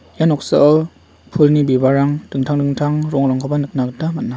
ia noksao pulni bibalrang dingtang dingtang rongrangkoba nikna gita man·a.